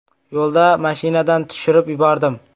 Yo‘lda mashinadan tushirib yubordim.